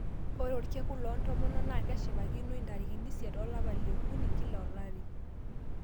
Ore orkekun loo ntomonok naa keshipakinoi intarikini isiet olapa lekuni kila olari.